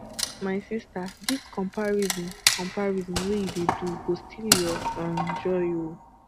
my sista dis comparison comparison wey you dey do go steal your um joy o